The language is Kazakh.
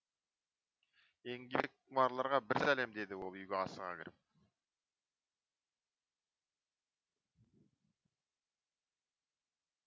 еңбекқұмарларға бір сәлем деді ол үйге асыға кіріп